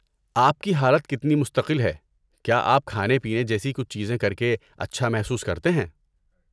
آپ کی حالت کتنی مستقل ہے، کیا آپ کھانے پینے جیسی کچھ چیزیں کرکے اچھا محسوس کرتے ہیں؟